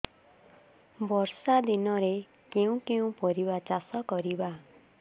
ବର୍ଷା ଦିନରେ କେଉଁ କେଉଁ ପରିବା ଚାଷ କରିବା